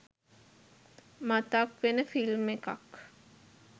මතක් වෙන ෆිල්ම් එකක්